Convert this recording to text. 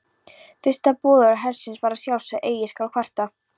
Fyrsta boðorð hersins var að sjálfsögðu Eigi skal kvarta.